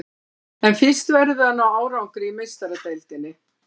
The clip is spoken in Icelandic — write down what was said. En fyrst verðum við að ná árangri í Meistaradeildinni.